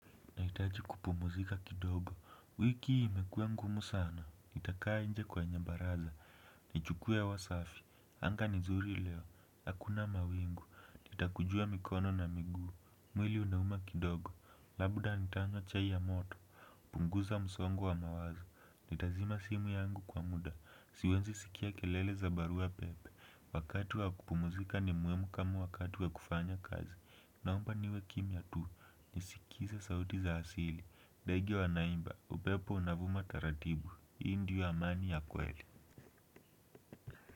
Nahitaji kupumuzika kidogo. Wiki imekuwa ngumu sana. Nitakaa nje kwenye baraza. Nichukue hewa safi. Anga ni nzuri leo. Hakuna mawingu. Nitakujua mikono na miguu. Mwili unauma kidogo. Labda nitanywa chai ya moto. Punguza msongo wa mawazo. Nitazima simu yangu kwa muda. Siwezi sikia kelele za barua pepe. Wakati wa kupumzika ni muhimu kama wakati wa kufanya kazi. Naomba niwe kimya tu. Nisikize sauti za asili ndege wanaimba upepo unavuma taratibu hii ndio amani ya kweli.